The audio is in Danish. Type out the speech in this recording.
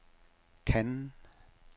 Cannes